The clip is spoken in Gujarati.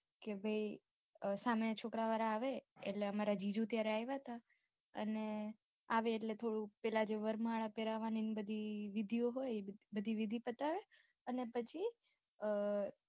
કે સામે છોકરાં વાળા આવે એટલે અમારે જીજુ ત્યારે આયવા તા અને આવે એટલે થોડું પેલાં જે વરમાળા પેરાવાની બધી વિધિઓ હોય બધી વિધિ હોય એ પતાવે અને પછી